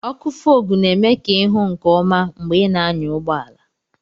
ọkụ Fog na-eme ka ị hụ nke ọma mgbe ị na-anya ụgbọ ala